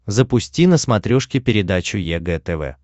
запусти на смотрешке передачу егэ тв